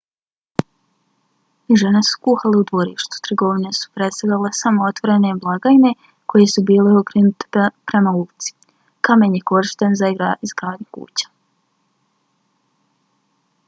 žene su kuhale u dvorištu; trgovine su predstavljale samo otvorene blagajne koje su bile okrenute prema ulici. kamen je korišten za izgradnju kuća